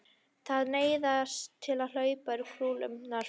Það neistaði um hlaupin og kúlurnar flugu.